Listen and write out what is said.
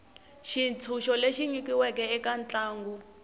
xitshunxo lexi nyikiweke eka ntlangu